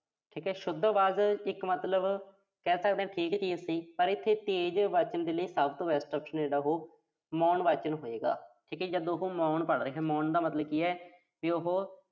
ਠੀਕ ਸ਼ੁੱਧ ਆਵਾਜ਼ ਇੱਕ ਮਤਲਬ ਕਿਹ ਸਕਦੇ ਆਂ। ਠੀਕ ਚੀਜ਼ ਸੀ। ਪਰ ਇਥੇ ਤੇਜ਼ ਵਾਚਨ ਦੇ ਲਈ ਸਭ ਤੋਂ best option ਆ ਜਿਹੜਾ ਉਹੋ, ਮੌਨ ਵਾਚਨ ਹੋਏਗਾ। ਠੀਕਾ ਜੀ। ਜਦ ਉਹੋ ਮੌਨ ਪੜ੍ਹ ਰਿਹਾ, ਮੌਨ ਦਾ ਮਤਲਬ ਕੀ ਆ, ਵੀ ਉਹੋ